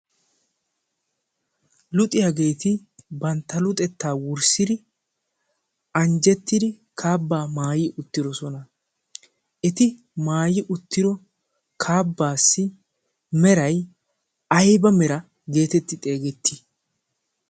luxiyaageeti bantta luxettaa wurssidi anjjettidi kaabbaa maayi uttiro sona eti maayi uttiro kaabbaassi meray ayba mera geetetti xeegettii?